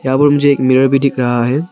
और मुझे मिरर भी दिख रहा है।